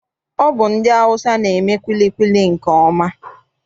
Ọ bụ ndị Awụsa na-eme kwilikwili nke ọma.